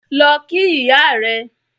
Lọ kí ìyá rẹ̀